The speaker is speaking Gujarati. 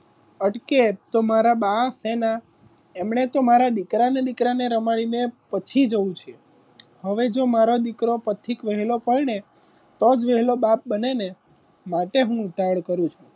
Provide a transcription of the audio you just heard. અટકે તો મારા બા એના તો મારા દીકરાને દીકરાને રમાડીને પછી જવું છે. હવે જો મારો દીકરો પથિક વહેલો પરાણે તોજ વહેલો બાપ બને ને માટે હું ઉતાવડ કરું છું.